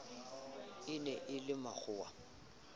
e ne e le makgowa